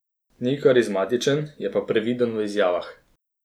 Ni karizmatičen, je pa previden v izjavah.